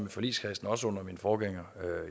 i forligskredsen også under min forgænger